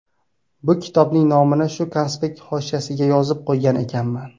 Bu kitobning nomini shu konspekt hoshiyasiga yozib qo‘ygan ekanman.